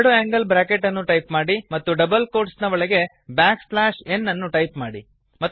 ಎರಡು angle bracket ಅನ್ನು type ಮಾಡಿ ಮತ್ತು ಡಬಲ್ ಕೋಟ್ಸ್ ನ ಒಳಗೆ ಬ್ಯಾಕ್ ಸ್ಲ್ಯಾಶ್ ಎನ್ ಅನ್ನು ಟೈಪ್ ಮಾಡಿ